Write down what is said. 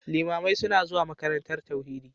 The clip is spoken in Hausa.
Limamai suna zuwa makarantar tauhidi